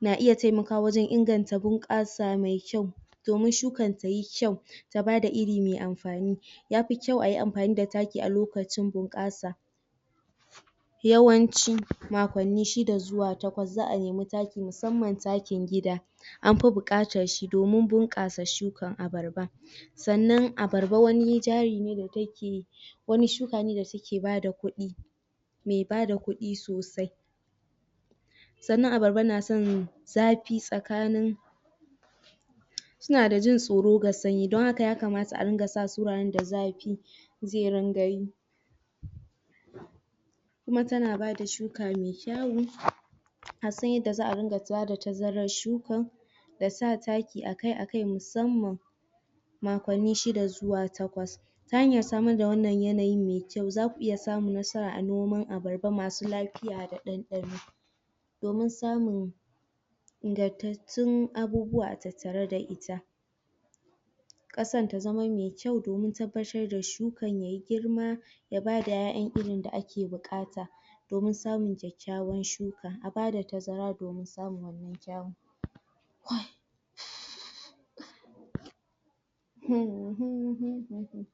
na iya taimaka wajen inganta bunkasa me kyau domin shukan tayi kyau ta ba da iri me amfani ya fi kyau ayi amfani da taki a lokacin bunkasa yawanci shida zuwa takwas za a nemi taki musamman takin gida, an fi bukatan shi domin bunkasa shukan abarba sannan kuma abarba wani jari ne da take, wane shuka ne da take ba da kudi me ba da kudi sosai sannan abarba na son zafi tsakanin suna da jin soro ga sanyi don haka ya kamata a ringa sa su da zafi ze ringa yi kuma tana ba da shuka me kyau a san inda za a iya tazaran shukan da sa taki akai akai musamman shida zuwa takwas ta hanyar samar da wannan yanayin me kyau za ku iya samun nasara a noman abarba masu lafiya da dandano. domin samun inganttacen abubuwa a tattare da ita kasan ta zama me kyau domin tabbatar da shukan tayi girma ya ba da iyaiyan irin da ake bukata domin samun kyayawan shuka, a ba da tazara domin samun wannan